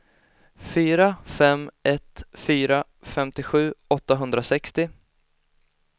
fyra fem ett fyra femtiosju åttahundrasextio